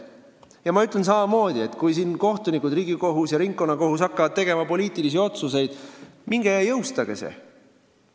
Ja ma ütlen samamoodi, et kui kohtunikud, Riigikohus ja ringkonnakohtud hakkavad tegema poliitilisi otsuseid – minge ja jõustage need!